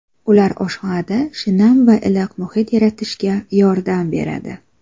Ular oshxonada shinam va iliq muhit yaratishga yordam beradi.